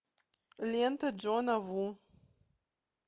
лента джона ву